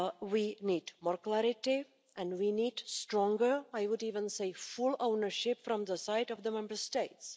We need more clarity and we need stronger I would even say full ownership from the side of the Member States.